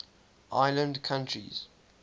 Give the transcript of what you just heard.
island countries